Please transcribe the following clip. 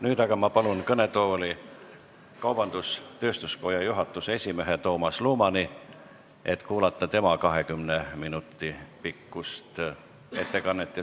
Nüüd ma palun kõnetooli kaubandus-tööstuskoja juhatuse esimehe Toomas Lumani, et me saaksime kuulata tema 20 minuti pikkust ettekannet.